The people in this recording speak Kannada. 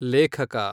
ಲೇಖಕ